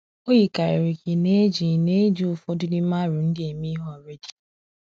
O yikarịrị ka ị na-eji ị na-eji ụfọdụ n’ime aro ndị a eme ihe already.